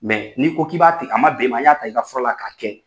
n'i ko k'i b'a a man bɛn i ma i y'a ta i ka fura la k'a kɛ.